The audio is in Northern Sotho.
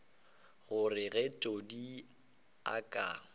gore ge todi a ka